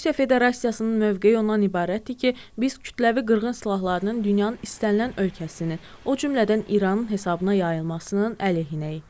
Rusiya Federasiyasının mövqeyi ondan ibarətdir ki, biz kütləvi qırğın silahlarının dünyanın istənilən ölkəsinin, o cümlədən İranın hesabına yayılmasının əleyhinəyik.